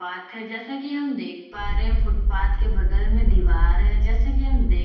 बात है जैसा कि हम देख पा रहे हैं फूटपाथ के बगल में दीवार है जैसा कि हम देख--